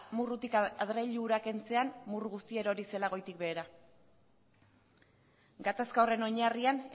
murrutik adreilu hura kentzean murru guztia erori zela goitik behera gatazka horren oinarrian